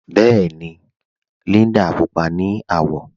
Bẹẹni, Líndà púpọ̀ ni awọ